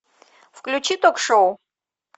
включи ток шоу